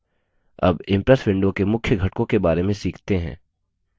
अब impress window के मुख्य घटकों के बारे में सीखते हैं